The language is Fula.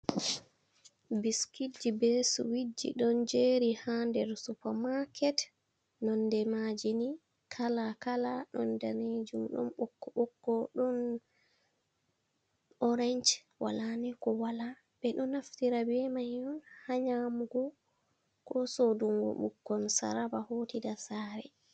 Biskitji be suwitji ɗon jeri ha nder Supa maket, nonde maji ni kala kala ɗon danejum, ɗon ɓokko ɓokko, ɗon orange, wala ni ko wala ɓe ɗo naftira ɓe main ha nyamugo ko sodungo bikkon saraba hotida sare.